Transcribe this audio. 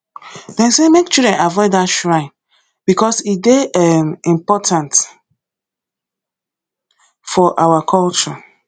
them say make children avoid that shrine because e dey um important for our culture